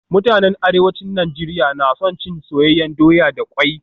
Mutanen Arewacin Najeriya na son cin soyayyen doya da kwai